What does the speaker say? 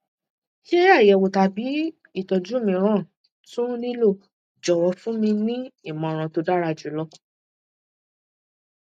ṣé àyẹwò tàbí ìtọjú mìíràn tún nílò jọwọ fún mi ní ìmọràn tó dára jù lọ